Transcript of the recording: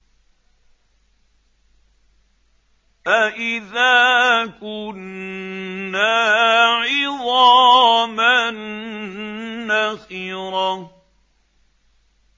أَإِذَا كُنَّا عِظَامًا نَّخِرَةً